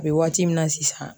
A bɛ waati min na sisan.